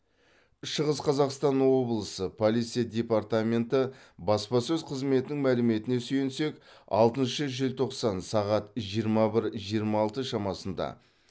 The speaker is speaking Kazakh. шығыс қазақстан облысы полиция департаменті баспасөз қызметінің мәліметіне сүйенсек алтыншы желтоқсан сағат жиырма бір жиырма алты шамасында